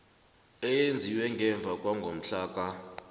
eyenziwe ngemva kwangomhlaka